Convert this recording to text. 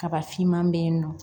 Kaba finman be yen nɔ